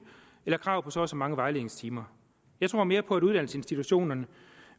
eller krav på så og så mange vejledningstimer jeg tror mere på at uddannelsesinstitutionerne